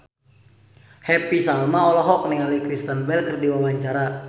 Happy Salma olohok ningali Kristen Bell keur diwawancara